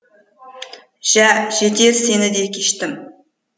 жә жетеді сені де кештім